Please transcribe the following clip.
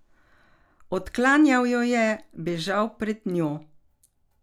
Odklanjal jo je, bežal pred njo.